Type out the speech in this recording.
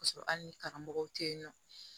K'a sɔrɔ hali ni karamɔgɔw tɛ yen nɔ